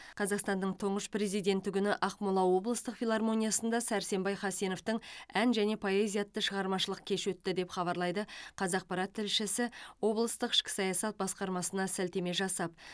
қазақстанның тұңғыш президенті күні ақмола облыстық филармониясында сәрсенбай хасеновтың ән және поэзия атты шығармашылық кеші өтті деп хабарлайды қазақпарат тілшісі облыстық ішкі саясат басқармасына сілтеме жасап